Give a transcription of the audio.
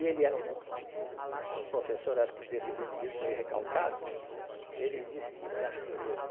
E ele era um um professor, acho que desses indivíduos meio recalcados, ele disse-me assim mesmo,